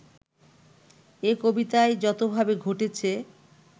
এ কবিতায় যতভাবে ঘটেছে